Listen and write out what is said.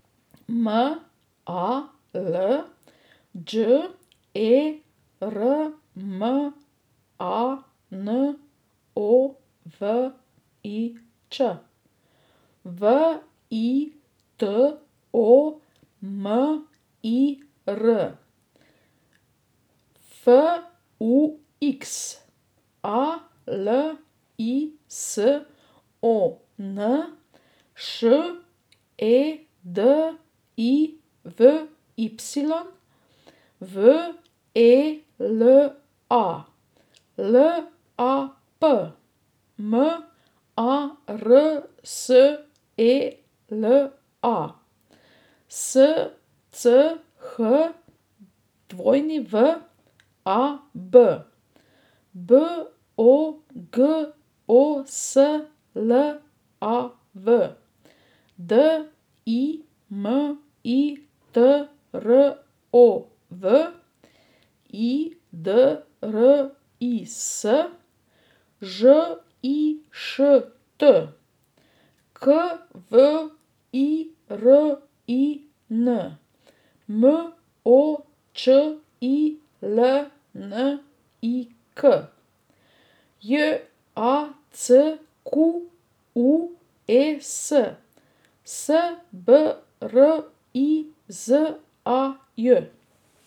M A L, Đ E R M A N O V I Ć; V I T O M I R, F U X; A L I S O N, Š E D I V Y; V E L A, L A P; M A R S E L A, S C H W A B; B O G O S L A V, D I M I T R O V; I D R I S, Ž I Š T; K V I R I N, M O Č I L N I K; J A C Q U E S, S B R I Z A J.